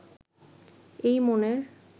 এই মনের